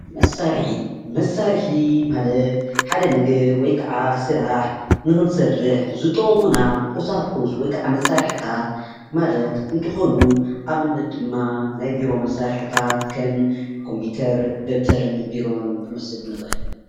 መሳርሒ ማለት ሓደ ነገር ወይ ከዓ ስራሕ ንክንሰርሕ ዝጠቅሙና ቁሳቁስ ወይ ከዓ መሳርሒታት ማለት እንትኮኑ ፤ አብነት ድማ ናይ ቢሮ መሳርሒታት ከም ኮምፒተር ፣ ደፍተርን ቢሮን ክንወስድ ንክእል፡፡